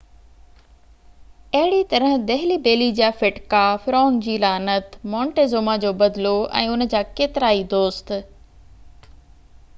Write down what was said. اهڙيءَ طرح دهلي بيلي جا ڦٽڪا فرعون جي لعنت مونٽيزوما جو بدلو ۽ انهن جا ڪيترائي دوست